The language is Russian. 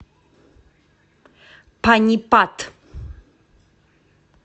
панипат